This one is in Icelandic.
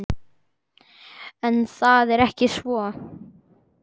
En það er ekki svo.